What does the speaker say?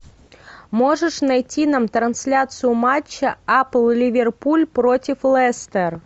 можешь найти нам трансляцию матча апл ливерпуль против лестер